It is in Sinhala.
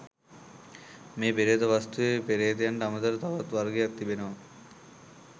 මේ පේ්‍රත වස්තුවේ පේ්‍රතයන්ට අමතරව තවත් වර්ගයක් තිබෙනවා.